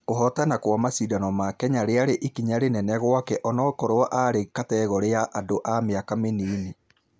Kũhotama mashidano ma kenya....yarĩ ikinya rĩnene gwaka ũnũkorwo yarĩ kategore ya andũ a mĩaka mĩnini.